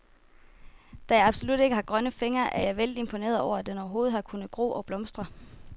Da jeg absolut ikke har grønne fingre, er jeg vældig imponeret over, at den overhovedet har kunnet gro og blomstre.